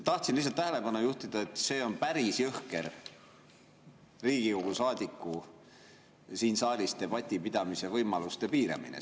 Tahtsin lihtsalt tähelepanu juhtida, et see on siin saalis päris jõhker Riigikogu saadiku debati pidamise võimaluse piiramine.